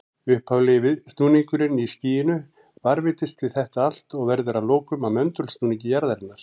Upphaflegi snúningurinn í skýinu varðveitist við þetta allt og verður að lokum að möndulsnúningi jarðarinnar.